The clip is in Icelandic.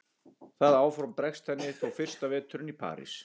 Það áform bregst henni þó fyrsta veturinn í París.